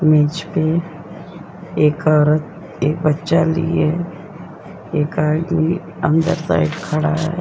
मेज पे एक औरत एक बच्चा लिए एक आदमी अंदर साइड खड़ा है।